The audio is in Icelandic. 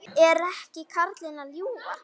Er ekki karlinn að ljúga?